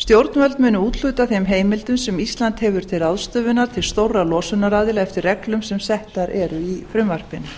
stjórnvöld munu úthluta þeim heimildum sem ísland hefur til ráðstöfunar til stórra losunaraðila eftir reglum sem settar eru í frumvarpinu